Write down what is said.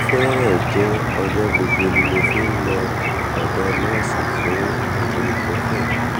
ó fẹ́rẹ̀ẹ́ jẹ́ ọjọ́ gbogbo ni mo fi ń lọ ọ̀dọ̀ nọ́ọ̀sì fún ibuprofen